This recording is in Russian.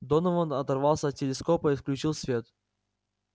донован оторвался от телескопа и включил свет